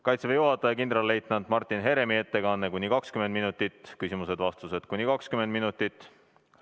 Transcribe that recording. Kaitseväe juhataja kindralleitnant Martin Heremi ettekanne kestab kuni 20 minutit ja küsimused-vastused samuti kuni 20 minutit.